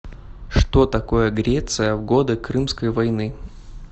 что такое греция в годы крымской войны